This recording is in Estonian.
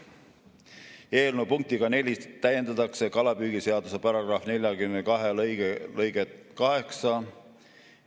Eelnõu punktiga 4 täiendatakse kalapüügiseaduse § 42 lõiget 8.